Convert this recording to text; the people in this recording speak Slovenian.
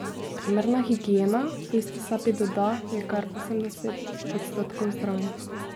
Primerna higiena, v isti sapi doda, je kar osemdeset odstotkov zdravja.